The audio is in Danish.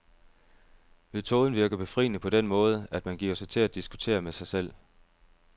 Metoden virker befriende på den måde, at man giver sig til at diskutere med sig selv.